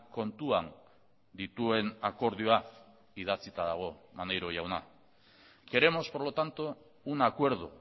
kontuan dituen akordioa idatzita dago maneiro jauna queremos por lo tanto un acuerdo